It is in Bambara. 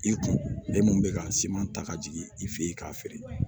I kun ale mun bɛ ka siman ta ka jigin i fɛ yen k'a feere